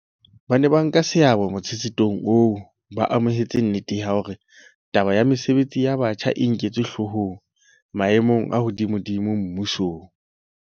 Ba neng ba nka seabo motshetshethong oo ba amohetse nnete ya hore taba ya mesebetsi ya batjha e nketswe hloohong maemong a hodimodimo mmusong.